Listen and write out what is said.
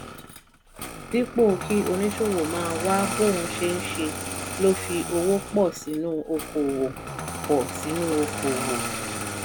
dípò kí oníṣòwò máa wá bóun ṣe ńṣe ló fi owó pọ̀ sínú okòwò. pọ̀ sínú okòwò.